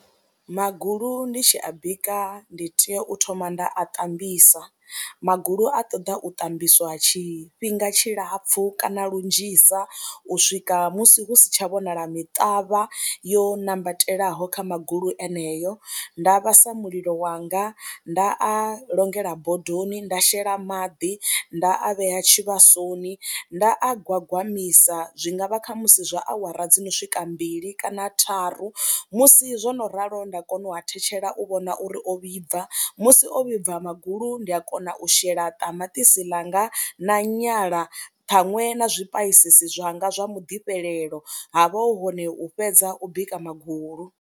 Magulu ndi a tshi a bika ndi tea u thoma nda a ṱambisa, magulu a ṱoḓa u ṱambiswa tshifhinga tshilapfhu kana lunzhisa u swika musi hu si tsha vhonala miṱavha yo nambatelaho kha magulu eneyo, nda vhasa mulilo wanga, nda a longela bodoni, nda shela maḓi, nda a vhea tshivhasoni, nda a gwagwamisa zwi nga vha kha musi zwa awara dzo no swika mbili kana tharu musi zwo no ralo nda kona u a thetshela u vhona uri o vhibva, musi o vhibva magulu ndi a kona u shela ṱamaṱisi ḽanga na nyala ṱhaṅwe na zwipaisisi zwanga zwa muḓifhelelo ha vha hu hone u fhedza u bika magulu.